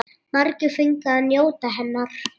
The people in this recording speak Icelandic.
Margir fengu að njóta hennar.